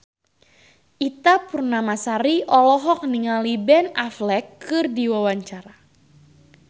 Ita Purnamasari olohok ningali Ben Affleck keur diwawancara